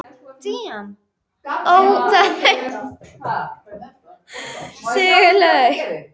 Hver ætlar að selja sinn besta leikmann í janúar?